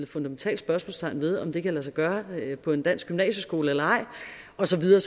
fundamentalt spørgsmålstegn ved om det kan lade sig gøre på en dansk gymnasieskole eller ej og så videre